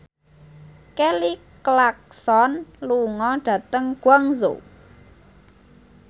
Kelly Clarkson lunga dhateng Guangzhou